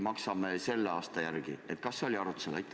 Kas see oli arutusel?